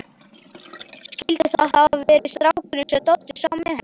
Skyldi það hafa verið strákurinn sem Doddi sá með henni?